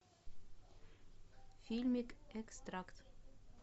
фильмик экстракт